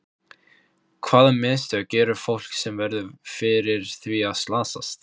Hvaða mistök gerir fólk sem verður fyrir því að slasast?